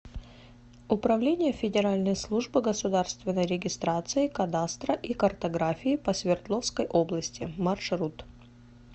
управление федеральной службы государственной регистрации кадастра и картографии по свердловской области маршрут